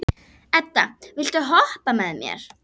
Edda, viltu hoppa með mér?